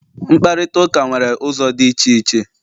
mkparịta ụka nwere ụzọ dị iche iche